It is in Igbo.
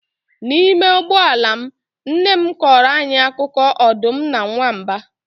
N'ime ụgbọ ala m, nne m kọọrọ anyị akụkọ ọdụm na nwamba